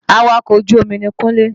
Awakọ̀ ojú omi ni Kúnlé